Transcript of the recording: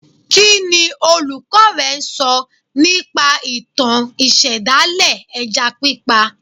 Kí ni olùkọ́ rẹ sọ nípa ìtàn ìṣẹ̀dálẹ̀ ẹja pípa